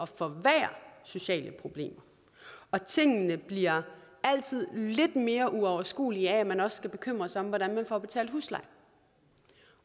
forværre sociale problemer og tingene bliver altid lidt mere uoverskuelige af at man også skal bekymre sig om hvordan man får betalt husleje